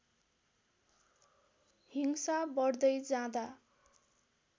हिंसा बढ्दै जाँदा